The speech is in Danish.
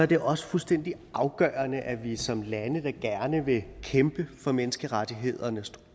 det også fuldstændig afgørende at vi som lande der gerne vil kæmpe for menneskerettighederne står